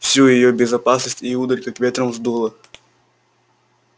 всю её беззаботность и удаль как ветром сдуло